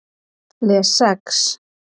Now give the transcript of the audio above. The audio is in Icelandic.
Les Sex